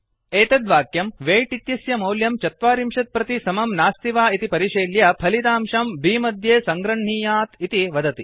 एतत् वाक्यं वेय्ट् इत्यस्य मौल्यं ४० प्रत् समं नास्ति वा इति परिशील्य फलितांशं बि मध्ये सङ्गृह्णीयात् इति वदति